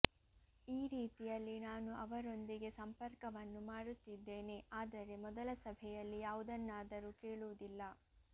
ಈ ರೀತಿಯಲ್ಲಿ ನಾನು ಅವರೊಂದಿಗೆ ಸಂಪರ್ಕವನ್ನು ಮಾಡುತ್ತಿದ್ದೇನೆ ಆದರೆ ಮೊದಲ ಸಭೆಯಲ್ಲಿ ಯಾವುದನ್ನಾದರೂ ಕೇಳುವುದಿಲ್ಲ